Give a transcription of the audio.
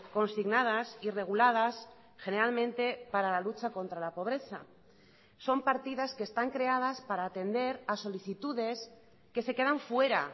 consignadas y reguladas generalmente para la lucha contra la pobreza son partidas que están creadas para atender a solicitudes que se quedan fuera